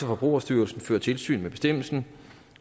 forbrugerstyrelsen fører tilsyn med bestemmelsen